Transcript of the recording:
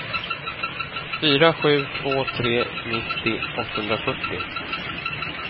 fyra sju två tre nittio åttahundrafyrtio